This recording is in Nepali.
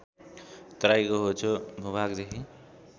तराईको होचो भूभागदेखि